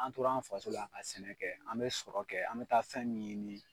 An tora an fasola ka sɛnɛ kɛ an be sɔrɔ kɛ an be taa fɛn min ɲini